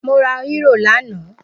Mo ra Euro lana